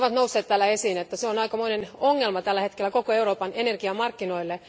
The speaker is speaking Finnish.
Ne ovat aikamoinen ongelma tällä hetkellä koko Euroopan energiamarkkinoille.